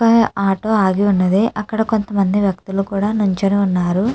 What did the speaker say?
హ ఆటో ఆగి ఉన్నదీ అక్కడ కొంత మంది వ్యక్తులు కూడా నుంచొని ఉన్నారు.